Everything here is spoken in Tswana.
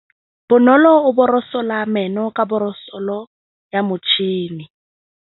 Bonolô o borosola meno ka borosolo ya motšhine.